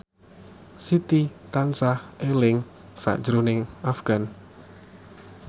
Siti tansah eling sakjroning Afgan